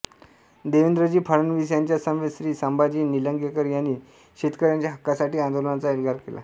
देवेंद्रजी फडणवीस यांच्या समवेत श्री संभाजी निलंगेकर यांनी शेतकऱ्यांच्या हक्कासाठी आंदोलनाचा एल्गार केला